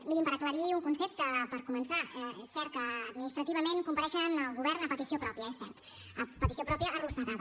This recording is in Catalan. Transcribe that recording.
mirin per aclarir un concepte per començar és cert que administrativament compareix el govern a petició pròpia és cert a petició pròpia arrossegada